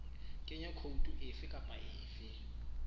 kenya khoutu efe kapa efe